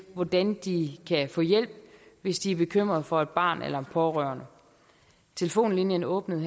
hvordan de kan få hjælp hvis de er bekymrede for et barn eller en pårørende telefonlinjen åbnede